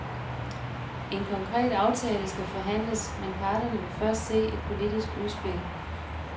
En konkret aftale skal forhandles, men parterne vil først se et politisk udspil.